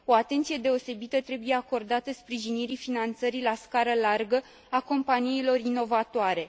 O atenție deosebită trebuie acordată sprijinirii finanțării la scară largă a companiilor inovatoare.